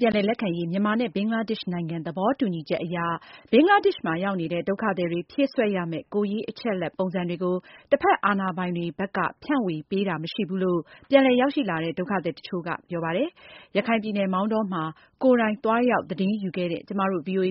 ပြန်လည်လက်ခံရေး မြန်မာနဲ့ဘင်္ဂလားဒေရှ့်နိုင်ငံ သဘောတူညီချက်အရ ဘင်္ဂလားဒေ့ရှ်မှာ ရောက်နေတဲ့ ဒုက္ခ သည်တွေဖြည့်စွက်ရမယ့် ကိုယ်ရေး အချက်အလက်ပုံစံတွေကို တဖက်အာဏာပိုင် ဘက်က ဖြန့်ဝေပေးတာ မရှိဘူးလို့ ပြန် လည်ရောက်ရှိလာကြတဲ့ ဒုက္ခသည်အချို့ကပြောပါတယ်။ ဒီသတင်းကို ရခိုင် ပြည်နယ်မောင်တောမှာ ကိုယ်တိုင် သွားရောက် သတင်းယူခဲ့တဲ့ ဗွီအိုအေ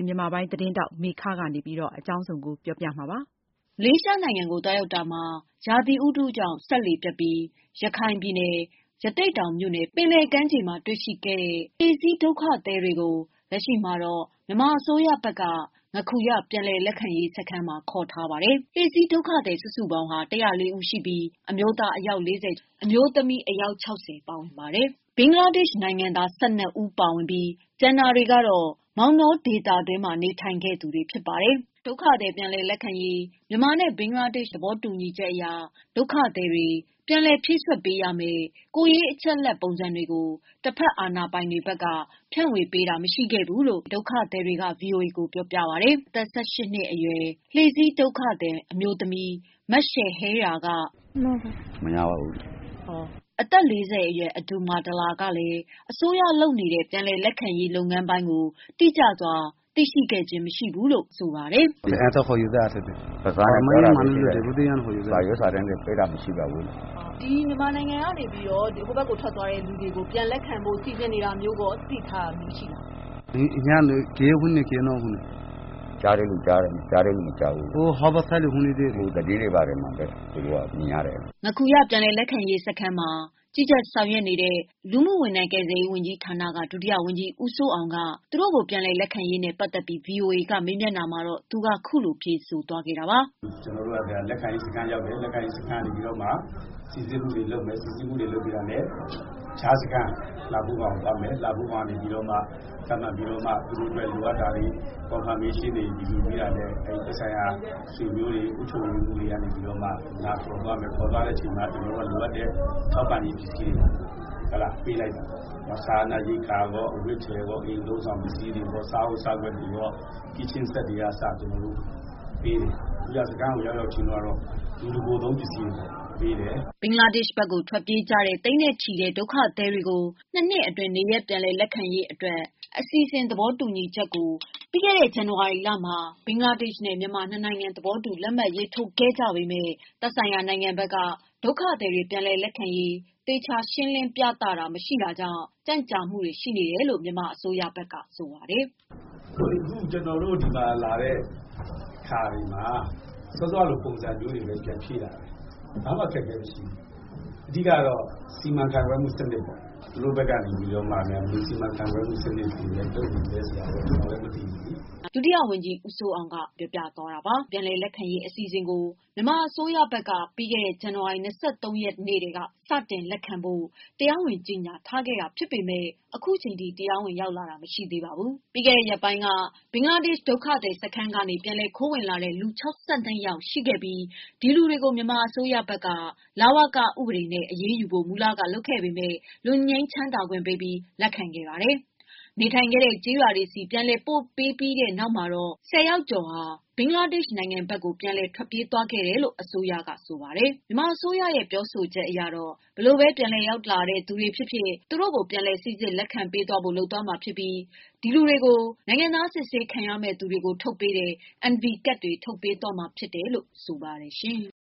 သတင်းထောက်မေခကပေးပို့ထားပါတယ်။ မလေးရှား နိုင်ငံသို့ သွားရောက်တာမှာ ရာသီဥတုကြောင့် စက်လှေပျက်ပြီး ရခိုင်ပြည်နယ်၊ ရသေ့တောင်မြို့နယ် ပင်လယ် ကမ်းခြေမှာ တွေ့ရှိခဲ့တဲ့ လှေစီး ဒုက္ခသည်တွေကို လက်ရှိမှာ မြန်မာအစိုးရဘက်က ငါးခူရ ပြန်လည် လက်ခံရေးစခန်းမှာ ခေါ်ထားပါတယ်။ လှေစီးဒုက္ခသည်စုစုပေါင်းဟာ ၁၀၄ ဦးရှိပြီး အမျိုးသား ၄၄ ဦးနဲ့အမျိုးသမီး ၆၀ ဦးတို့ ပါဝင်ပါတယ်။ ဘင်္ဂလားဒေ့ရှ်နိုင်ငံသား ၁၂ ဦးပါဝင်ပြီး ကျန်တာတွေကတော့ မောင်တောဒေသတွင်းမှာ နေထိုင်ခဲ့ သူတွေ ဖြစ်ပါတယ်။ ဒုက္ခသည် ပြန်လည်လက်ခံရေး မြန်မာနဲ့ဘင်္ဂလားဒေ့ရှ် နှစ်နိုင်ငံ သဘောတူညီချက်အရ ဒုက္ခသည်တွေ ပြည်လည်ဖြည့်စွက်ပေးရမယ့် ကိုယ်ရေး အချက် အလက် ပုံစံတွေကို တဖက်အာဏာပိုင်တွေဘက်က ဖြန့်ဝေပေးတာ မရှိခဲ့ဘူးလို့ ဒုက္ခသည်တွေက ဗွီအိုအေကို ပြောပြကြပါတယ်။ အသက် ၁၈ နှစ်အရွယ် လှေစီး ဒုက္ခသည် အမျိုးသမီး မရှယ်ဟေရာက အဲဒီစာရွက်စာတမ်းတွေ မရရှိခဲ့ကြောင်း စကားပြန်ကတဆင့် - ပြောပါတယ်။ အသက် ၄၀ အရွယ်အဒူလ်မားဒလာကလည်း အစိုးရလုပ်နေတဲ့ ပြန်လည်လက်ခံရေးပိုင်းကို တိကျစွာ သိရှိခဲ့ခြင်းမရှိဘူးလို့ အခုလို ပြောပါတယ်။ "စာရွက်စာတမ်းတွေ ပေးတာမရှိပါဘူး။" မေး။ ။ မြန်မာနိုင်ငံကနေထွက်သွားတဲ့လူတွေကို ပြန်လည် လက်ခံဖို့ စီစဉ်နေတာမျိုးကိုကော သိထားတာရှိလား။ ဖြေ။ ။ ကြားတဲ့လူကြားတယ်၊ မကြားတဲ့လူ မကြားဘူး။ သတင်းတွေဘာတွေမှာပဲ သူတို့က မြင်ရတယ်။ ငါးခူရ ပြန်လည် လက်ခံရေးစခန်းမှာ ကြီးကြပ် ဆောင်ရွက်နေသူ လူ/ကယ်ပြန်ဝန်ကြီး ဌာနမှ ဒုတိယဝန်ကြီး ဦးစိုးအောင်က သူတို့ကို ပြန်လည်လက်ခံရေးနဲ့ပတ်သက်ပြီး ဗွီအိုအေကမေးမြန်းတာမှာသူက အခုလို ဖြေဆိုသွားပါတယ်။ - လက်ခံရေးစခန်းကို ရောက်တယ်၊ လက်ခံရေးစခန်းကို ရောက်ပြီးတော့ မှ စိစစ်မှုတွေလုပ်မယ်။ စိစစ်မှုတွေလုပ်ပြီးတာနဲ့ ကြားစခန်း လှဖိုးခေါင်ကိုသွားမယ်။ လှဖိုးခေါင်ကနေ ထပ်မံပြီးတော့မှ သူတို့အတွက် လိုအပ်တာတွေယူပြီးတာနဲ့သက်ဆိုင်ရာ ရှေ့နေတွေ၊ အုပ်ချုပ်ရေးမှူးတွေ က နေပြီးတော့မှ လာခေါ်သွားမယ်။ လာခေါ်သွားတဲ့ အချိန်မှာ ကျနော်တို့က လိုအပ်တဲ့ ထောက်ပံ့ရေးပစ္စည်းတွေ ပေးလိုက်မယ်။ စားနပ် ရိက္ခာကော၊ အဝတ် အထည်ကော၊ အသုံးအဆောင်ပစ္စည်းတွေကော၊ စားအိုး စားခွက် တွေရော၊ kitchen set တွေကအစ ကျနော်တို့ပေးမှာ။...ငါးခူရစခန်းကို ရောက်ရောက် ချင်းတုန်းကတော့ လူတကိုယ်သုံးပစ္စည်းတွေ ပေးတယ်။" ဘင်္ဂလားဒေ့ရှ်ဘက်ကို ထွက်ပြေးကြတဲ့ သိန်းနဲ့ချီတဲ့ ဒုက္ခသည်တွေကို ၂ နှစ်အတွင်း နေရပ်ပြန်ရေးအတွက် အစီအစဉ် သဘောတူညီချက်ကို ပြီးခဲ့တဲ့ ဇန်နဝါရီလမှာ ဘင်္ဂလား ဒေ့ရှ်-မြန်မာ ၂ နိုင်ငံ သဘောတူလက်မှတ် ရေးထိုးခဲ့ပေမယ့် သက်ဆိုင်ရာ နိုင်ငံဘက်က ဒုက္ခသည်တွေပြန်လည်လက်ခံရေး သေချာရှင်းမပြနိုင်တာကြောင့် ကြန့်ကြာနေရတယ်လို့ မြန်မာအစိုးရဘက်က ဆိုပါတယ်။ "ဒီမှာလာတဲ့ အခါတွေမှာ စောစောကလိုပုံစံမျိုးတွေပဲ ပြန်ဖြည့်ရတာပဲ။ ဘာမှ အခက်အခဲ မရှိဘူး။ အဓိက-ကတော့ စီမံခန့်ခွဲမှုစနစ်ပေါ့။ သူတို့ဘက်က နေပြီးတော့များဘယ်လို စီမံခန့်ခွဲမှုစနစ်တွေလုပ်နေလဲ ဆိုတာကိုတော့ ကျနော်တို့လည်း မသိဘူးလေ။" ဒုတိယဝန်ကြီး ဦးစိုးအောင်က ပြောပြသွားတာပါ။ ဘင်္ဂလားဒေရှ်ဘက်ကို ထွက်ပြေးသွားတဲ့သူတွေ ပြန်လည်လက်ခံရေး အစီအစဉ်ကို မြန်မာအစိုးရဘက်က ပြီးခဲ့တဲ့ ဇန်နဝါရီ ၂၃ ရက်ကတည်းက စတင် လက်ခံဖို့ တရားဝင် ကြေငြာခဲ့ပေမယ့် ခုချိန်ထိတရားဝင်မလာကြသေးပါဘူး။ ပြီးခဲ့တဲ့ရက်ပိုင်းက ဘင်္ဂလားဒေရှ် ဒုက္ခသည်စခန်းကနေ ပြန်လည်ခိုးဝင်လာတဲ့ လူ ၆၂ ဦး ရှိခဲ့ပြီး ဒီလူတွေကို မြန်မာအစိုးရဘက်က လဝက ဥပဒေနဲ့ အရေးယူဖို့ မူလကလုပ်ခဲ့ ပေမယ့် လွတ်ငြိမ်းခွင့်ပေးခဲ့ပြီး လက်ခံခဲ့ပါတယ်။ နေထိုင်ခဲ့တဲ့ ကျေးရွာတွေဆီ ပြန်လည် ပို့ပြီးနောက်မှာ ၁၀ယောက်က ဘင်္ဂလားဒေ့ရှ်ဘက်ကို ပြန်လည်ထွက်ပြေးသွားခဲ့တယ်လို့ အစိုးရ က ဆိုပါတယ်။ မြန်မာ အစိုးရ ပြောဆိုချက်ကတော့ ဘယ်လိုဘဲ ပြန်ရောက်လာတဲ့သူတွေဖြစ်ဖြစ်သူတို့ကို ပြန်လည်စိစစ်လက်ခံသွား ဖို့ လုပ်သွားမှာဖြစ်ပြီး သူတို့ကိုနိုင်ငံသား စိစစ်ခံမည့်သူတွေကို ထုတ်ပေးတဲ့ NV ကတ်တွေထုတ်ပေးထားတယ်လို့ ဆိုပါတယ်ရှင်။